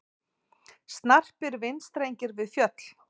Snarpir vindstrengir við fjöll